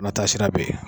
Na taasira bɛ ye